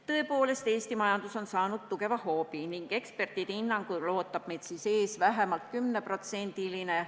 Tõepoolest, Eesti majandus on saanud tugeva hoobi ning ekspertide hinnangul ootab meid ees vähemalt 10%-line langus.